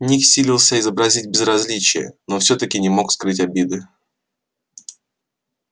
ник силился изобразить безразличие но всё-таки не смог скрыть обиды